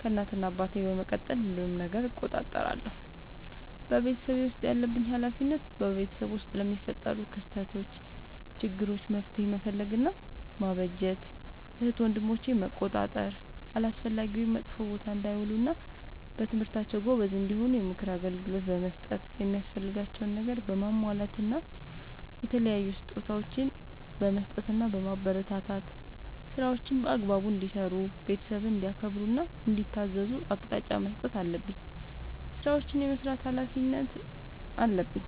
ከእናት እና አባቴ በመቀጠል ሁሉንም ነገር እቆጣጠራለሁ። በቤተሰቤ ውስጥ ያለብኝ ኃላፊነት በቤተሰብ ውስጥ ለሚፈጠሩ ክስተቶች ÷ችግሮች መፍትሄ መፈለግ እና ማበጀት ÷ እህት ወንድሞቼን መቆጣጠር አላስፈላጊ ወይም መጥፎ ቦታ እንዳይውሉ እና በትምህርታቸው ጎበዝ እንዲሆኑ የምክር አገልግሎት በመስጠት የሚያስፈልጋቸውን ነገር በማሟላት እና የተለያዩ ስጦታዎችን በመስጠትና በማበረታታት ÷ ስራዎችን በአግባቡ እንዲሰሩ ÷ ቤተሰብን እንዲያከብሩ እና እንዲታዘዙ አቅጣጫ መስጠት አለብኝ። ስራዎችን የመስራት ኃላፊነት አለብኝ።